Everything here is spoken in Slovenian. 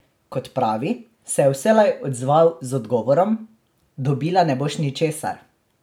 Kot pravi, se je vselej odzval z odgovorom: "Dobila ne boš ničesar.